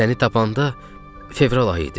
Səni tapanda fevral ayı idi.